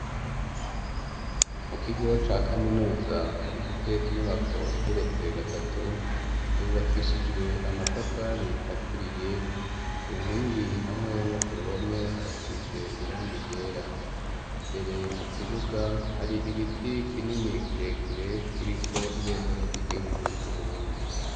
Mu kigo ca kaminuza gifise inyubako igeretse gatatu, yubakishijwe amatafari aturiye, ku nkingi hamwe no ku ruhome harasize irangi ryera, imbere mu kibuga hari igiti kinini kirekire, kiriko ibendera ry'igihugu c'Uburundi.